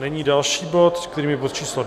Nyní další bod, kterým je bod číslo